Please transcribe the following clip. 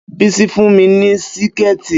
Bísí fún mi ní Síkẹ̀tí